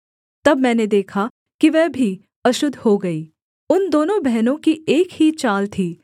तब मैंने देखा कि वह भी अशुद्ध हो गई उन दोनों बहनों की एक ही चाल थी